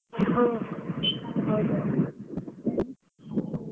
ಹಾ ಹೌದು.